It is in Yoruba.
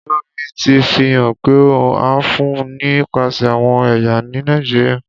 Olori ti fihan pe a fun ni nipasẹ awọn ẹya ni Nàìjíríà.